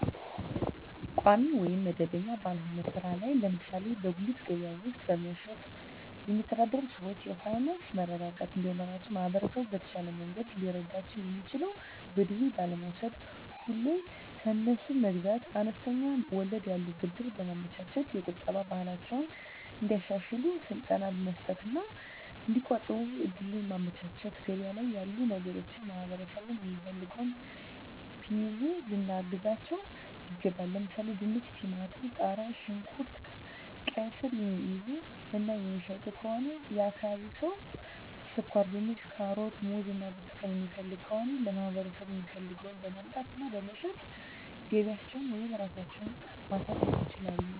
ቋሚ ወይም መደበኛ ባልሆነ ሥራ ላይ ለምሳሌ በጉሊት ገበያ ውስጥ በመሸጥየሚተዳደሩ ሰዎች የፋይናንስ መረጋጋት እንዲኖራቸው ማህበረሰቡ በተሻለ መንገድ ሊረዳቸው የሚችለው በዱቤ ባለመውስድ፤ ሁሌ ከነሱ መግዛት፤ አነስተኛ ወለድ ያለው ብድር በማመቻቸት፤ የቁጠባ ባህላቸውን እንዲያሻሽሉ ስልጠና መስጠት እና እዲቆጥቡ እድሉን ማመቻቸት፤ ገበያ ላይ ያሉ ነገሮችን ማህበረሠቡ የሚፈልገውን ቢይዙ ልናግዛቸው ይገባል። ለምሣሌ፦፤ ድንች፤ ቲማቲም፤ ቃሪያ፣ ሽንኩርት፤ ቃይስር፤ የሚይዙ እና የሚሸጡ ከሆነ የአካባቢው ሠው ስኳርድንች፤ ካሮት፤ ሙዝ እና ብርቱካን የሚፈልግ ከሆነ ለማህበረሰቡ የሚፈልገውን በማምጣት እና በመሸጥ ገቢያቸውን ወይም ራሳቸው ማሣደግ ይችላሉ።